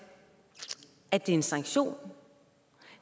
at det er en sanktion